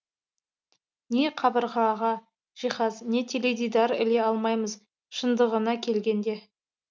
не қабырғаға жиһаз не теледидар іле алмаймыз шындығына келгенде